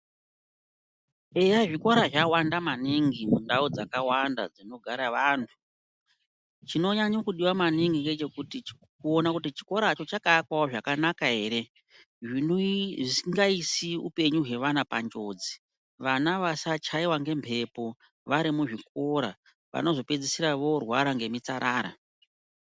Eya zvikora zvawanda maningi mundau dzakawanda dzinogara vantu, chinonyanye kudiwa maningi ngechekuti kuone kuti chikoro cho chakaakwawo zvakanaka ere zvisingaisi upenyu hwevana panjodzi, vana vasachaiwa ngembepo vari muzvikora vanozopedzisira vorwara ngemitsarara.